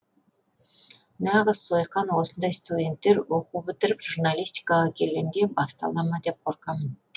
нағыз сойқан осындай студенттер оқу бітіріп журналистикаға келгенде бастала ма деп қорқамын